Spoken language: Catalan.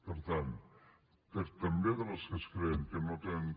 per tant també de les que es creen que no tenen